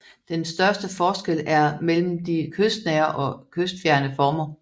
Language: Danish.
Den største forskel er mellem de kystnære og kystfjerne former